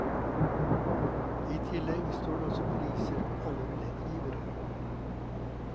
I tillegg står det også priser på alle billettgivere.